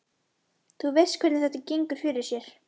Þú veist hvernig þetta gengur fyrir sig.